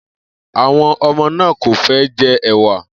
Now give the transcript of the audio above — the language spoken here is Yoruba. Àwo̩n o̩mo̩ náà kò fé̩ je̩ è̩wà